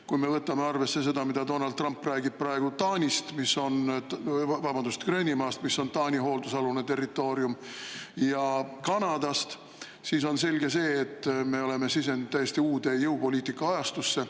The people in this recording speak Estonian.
Kui me võtame arvesse seda, mida Donald Trump räägib praegu Gröönimaast, mis on Taani hooldusalune territoorium, ja Kanadast, siis on selge, et me oleme sisenenud täiesti uude jõupoliitika ajastusse.